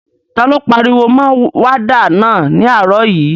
Ta ló pariwo mọ wádà náà ní àárọ̀ yìí?